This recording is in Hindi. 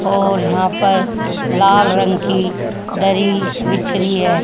और यहां पर लाल रंग की दरी बीछी री है।